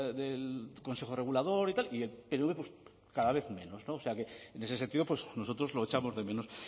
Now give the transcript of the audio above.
del consejo regulador y tal pero cada vez menos o sea que en ese sentido pues nosotros lo echamos de menos